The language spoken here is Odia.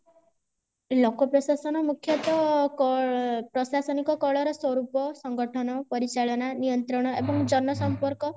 ଲୋକ ପ୍ରଶାସନ ମୁଖ୍ୟତ କ ପ୍ରଶାସନିକ କଳ ର ସ୍ୱରୂପ ସଂଗଠନ ପରିଚାଳନା ନିୟନ୍ତ୍ରଣ ଏବଂ ଜନ ସମ୍ପର୍କ